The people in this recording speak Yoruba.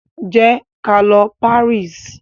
Ję kalọ Paris!